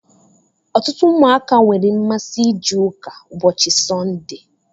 Ọtụtụ ụmụaka nwere mmasị ije ụka ụbọchị Sọnde.